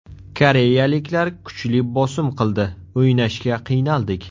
Koreyaliklar kuchli bosim qildi, o‘ynashga qiynaldik.